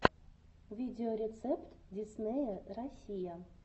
видеорецепт диснея россия